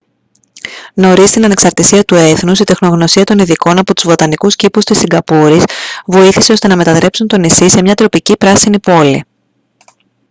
νωρίς στην ανεξαρτησία του έθνους η τεχνογνωσία των ειδικών από τους βοτανικούς κήπους της σιγκαπούρης βοήθησε ώστε να μετατρέψουν το νησί σε μια τροπική πράσινη πόλη